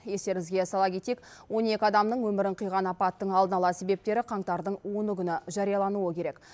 естеріңізге сала кетейік он екі адамның өмірін қиған апаттың алдын ала себептері қаңтардың оны күні жариялануы керек